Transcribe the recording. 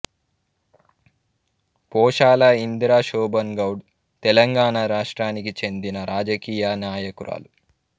పోశాల ఇందిరా శోభన్ గౌడ్ తెలంగాణ రాష్ట్రానికి చెందిన రాజకీయ నాయకురాలు